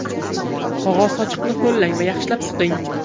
Qog‘oz sochiqni ho‘llang va yaxshilab siqing.